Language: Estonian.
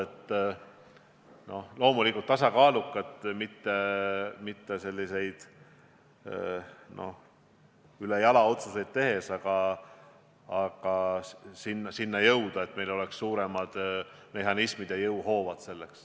Tuleks loomulikult tasakaalukalt, mitte ülejala otsuseid tehes, jõuda sinna, et meil oleksid võimsamad mehhanismid ja jõuhoovad.